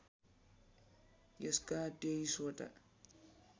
यसका २३ वटा